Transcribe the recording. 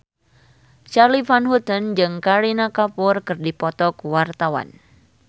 Charly Van Houten jeung Kareena Kapoor keur dipoto ku wartawan